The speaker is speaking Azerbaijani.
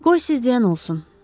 Qoy siz deyən olsun.